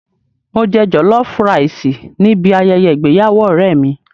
Mo jẹ jọ̀lọ́fú raìsì níbi ayẹyẹ ìgbéyàwó ọ̀rẹ́ mi.